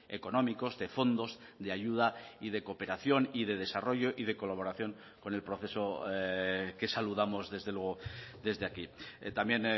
económicos de fondos de ayuda y de cooperación y de desarrollo y de colaboración con el proceso que saludamos desde luego desde aquí también